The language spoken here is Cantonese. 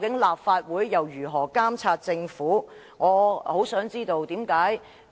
立法會日後還如何繼續監察政府？